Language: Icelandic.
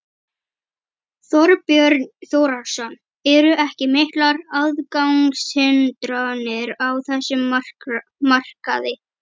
Þorbjörn Þórðarson: Eru ekki miklar aðgangshindranir á þessum markaði?